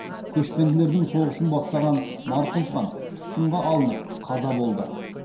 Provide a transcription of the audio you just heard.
көшпенділердің соғысын бастаған марқұз хан тұтқынға алынып қаза болды